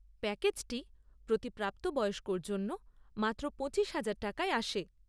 প্যাকেজটি প্রতি প্রাপ্তবয়স্কর জন্য মাত্র পঁচিশ হাজার টাকায় আসে।